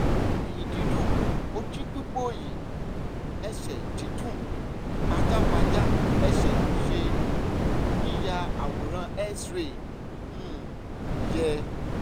ẹ̀yìn dídùn ojú pípòòyì ẹsẹ̀ dídùn pajápajá ẹsẹ̀ ṣé yíya àwòrán x-ray um yẹ?